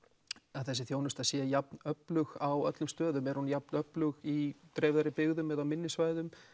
þessi þjónusta sé jafn öflug á þessum stöðum er hún jafn öflug í dreifðari byggðum eða minni svæðum